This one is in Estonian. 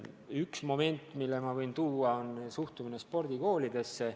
Üks moment, mille ma võin tuua, on suhtumine spordikoolidesse.